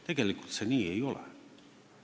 Tegelikult see nii ei ole.